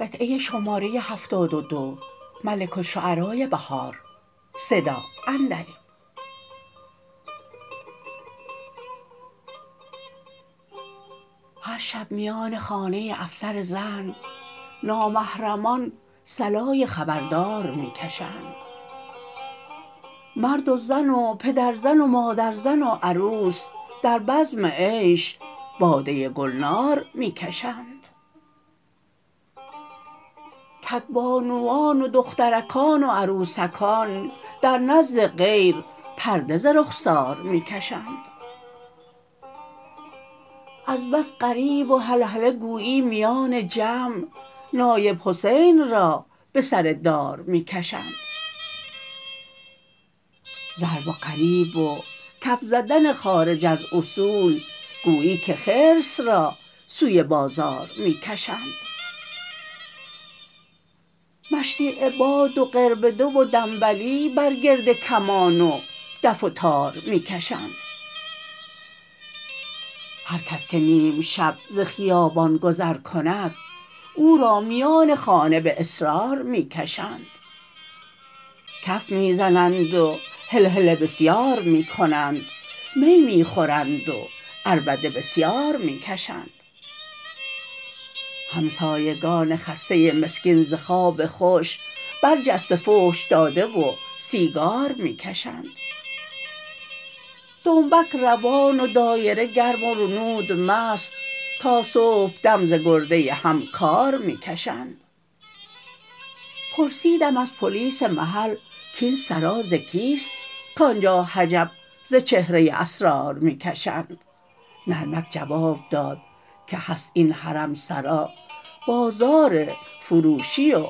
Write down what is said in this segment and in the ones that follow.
هر شب میان خانه افسر زن نامحرمان صلای خبردار می کشند مرد و زن و پدرزن و مادرزن و عروس در بزم عیش باده گلنار می کشند کدبانوان و دخترکان و عروسکان در نزد غیر پرده ز رخسار می کشند از بس غریو و هلهله گویی میان جمع نایب حسین را به سر دار می کشند ضرب و غریو و کف زدن خارج از اصول گویی که خرس را سوی بازار می کشند مشدی عباد و قربده و دنبلی بر گرد کمان و دف و تار می کشند هرکس که نیم شب ز خیابان گذر کند او را میان خانه به اصرار می کشند کف می زنند و هلهله بسیار می کنند می می خورند و عربده بسیار می کشند همسایگان خسته مسکین ز خواب خوش برجسته فحش داده و سیگار می کشند دنبک روان و دایره گرم و رنود مست تا صبحدم ز گرده هم کار می کشند پرسیدم از پلیس محل کاین سرا ز کیست کآنجا حجب ز چهره اسرار می کشند نرمک جواب داد که هست این حرمسرا بازار فروشی و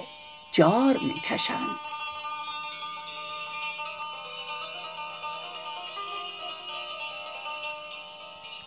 جار می کشند